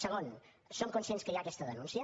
segon som conscients que hi ha aquesta denúncia